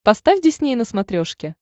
поставь дисней на смотрешке